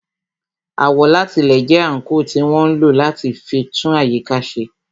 Àwọ̀látilẹ̀ jẹ́ àńkò tí wọ́n ń lò láti fi tún àyíká ṣe